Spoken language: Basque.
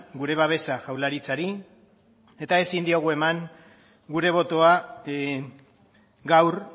gure babesa jaurlaritzari eta ezin diegu eman gure botoa gaur